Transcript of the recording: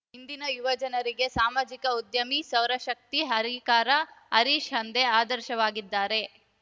ಇಂದಿನ ಯುವಜನರಿಗೆ ಸಾಮಾಜಿಕ ಉದ್ಯಮಿ ಸೌರಶಕ್ತಿ ಹರಿಕಾರ ಹರೀಶ್‌ ಹಂದೆ ಆದರ್ಶವಾಗಿದ್ದಾರೆ